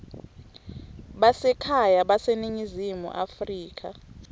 basekhaya baseningizimu afrika